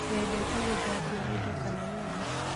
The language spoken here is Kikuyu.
Wendete gũthambia indo kana nyũmba